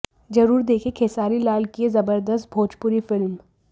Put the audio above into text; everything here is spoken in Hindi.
जरूर देखें खेसारी लाल की यह जबरदस्त भोजपुरी फिल्म